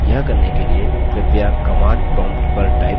यह करने के लिए कृपया command prompt पर type करिये